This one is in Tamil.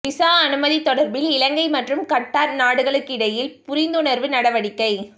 வீசா அனுமதி தொடர்பில் இலங்கை மற்றும் கட்டார் நாடுகளுக்கிடையில் புரிந்துணர்வு நடவடிக்கை